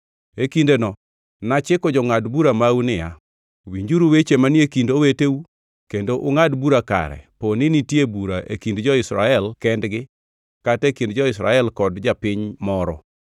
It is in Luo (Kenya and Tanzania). E kindeno nachiko jongʼad bura mau niya, Winjuru weche manie kind oweteu kendo ungʼad bura kare poni nitie bura e kind jo-Israel kendgi kata e kind ja-Israel kod japiny moro.